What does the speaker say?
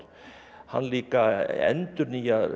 hann líka endurnýjar